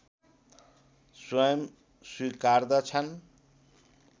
स्वयम् स्वीकार्दछन्